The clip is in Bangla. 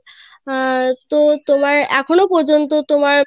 আহ তো তোমার এখনো পর্যন্ত তোমার